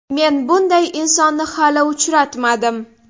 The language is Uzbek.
Men bunday insonni hali uchratmadim.